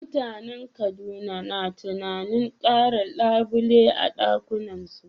Mutanen Kaduna na tunanin kara labule a ɗakunansu